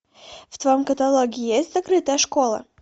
в твоем каталоге есть закрытая школа